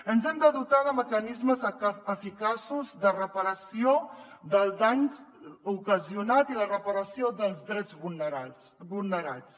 ens hem de dotar de mecanismes eficaços de reparació del dany ocasionat i la reparació dels drets vulnerats